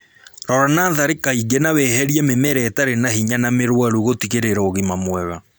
Rora natharĩ kaingĩ na weherie mĩmera ĩtarĩ na hinya na mĩrwaru gũtigĩrĩra ũgima mwega